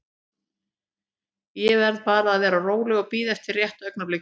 Ég verð bara að vera róleg og bíða eftir rétta augnablikinu.